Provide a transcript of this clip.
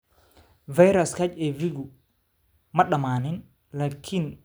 "Fayraska HIV-gu ma dhammaan - laakiin waanu la qabsannay."